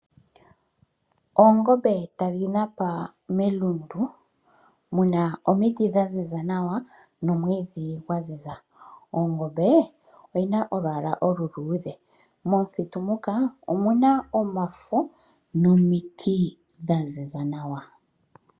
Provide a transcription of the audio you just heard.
Oongombe tadhi napa melundu, muna omiti dha ziza nawa nomwiidhi gwa ziza, ongombe oyina olwaala oluluudhe, momuthitu muka omuna omafo nomiti dha ziza nawa.